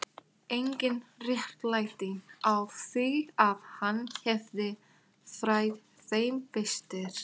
Kristín skyldi læra íslensku ekki síður en tungu Vilhjálms leikritaskálds.